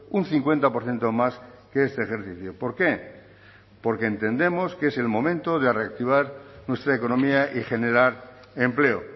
un cincuenta por ciento más que este ejercicio por qué porque entendemos que es el momento de reactivar nuestra economía y generar empleo